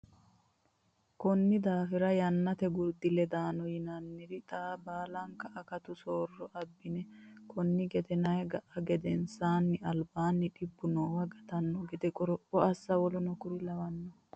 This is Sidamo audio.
Konni daafira Yaannate gurdi ledaano yinanniri xa baalinke akatu soorro abbine konne gedena ga a gedensaanni albaanni dhibba noowa gatanno gede qoropho assa w k l.